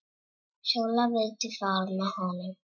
Sóla vildi fara með honum.